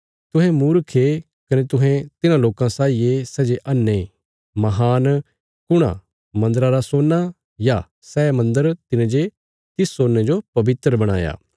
तुहें मूर्ख ये कने तुहें तिन्हां लोकां साई ये सै जे अन्हे महान कुण आ मन्दरा रा सोना या सै मन्दर तिने जे तिस सोने जो पवित्र बणाया